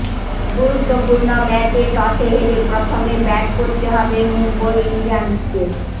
গুরুত্বপূর্ণ ম্যাচে টসে হেরে প্রথমে ব্যাট করতে হবে মুম্বই ইন্ডিয়ান্সকে